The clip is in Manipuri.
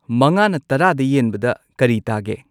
ꯃꯉꯥꯅ ꯇꯔꯥꯗ ꯌꯦꯟꯕꯗ ꯀꯔꯤ ꯇꯥꯒꯦ